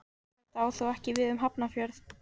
Þetta á þó ekki við um Hafnarfjörð.